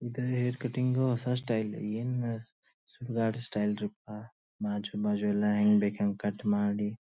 ಇದು hair cutting ಹೊಸ style ಏನ್ ಸುಡಗಾಡ ಸ್ಟೈಲ್ ಅಪ್ಪ ಬಾಜು ಬಾಜು ಎಲ್ಲ ಹೆಂಗ್ ಬೇಕ್ ಹ್ಯಾಂಗ ಕಟ್ ಮಾಡಿ--